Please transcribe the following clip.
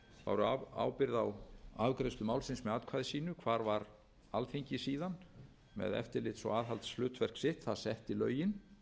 báru ábyrgð á afgreiðslu málsins með atkvæði sínu hvar var alþingi síðan með eftirlits og aðhaldshlutverk sitt það setti lögin